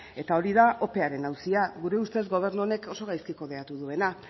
eta hori da opearen auzia gure ustez gobernu honek oso gaizki kudeatu duena